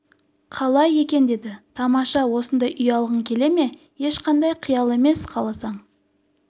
қалай екен деді тамаша осындай үй алғың келе ме ешқандай қиял емес қаласаң